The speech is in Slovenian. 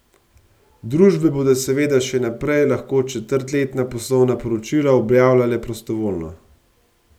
Družbe bodo seveda še naprej lahko četrtletna poslovna poročila objavljale prostovoljno.